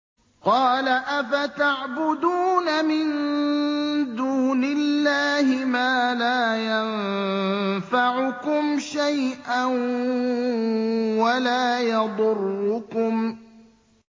قَالَ أَفَتَعْبُدُونَ مِن دُونِ اللَّهِ مَا لَا يَنفَعُكُمْ شَيْئًا وَلَا يَضُرُّكُمْ